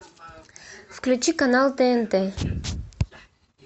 включи канал тнт